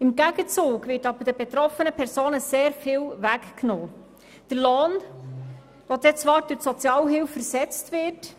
Im Gegenzug wird den betroffenen Personen sehr viel weggenommen: der Lohn, der zwar durch die Sozialhilfe ersetzt wird.